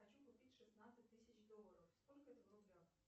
хочу купить шестнадцать тысяч долларов сколько это в рублях